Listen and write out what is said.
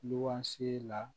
N'o si la